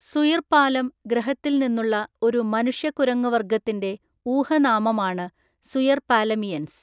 സുയിർപാലം ഗ്രഹത്തിൽ നിന്നുള്ള ഒരു മനുഷ്യക്കുരങ്ങുവര്‍ഗ്ഗത്തിന്‍റെ ഊഹനാമമാണ് സുയർപാലമിയൻസ്.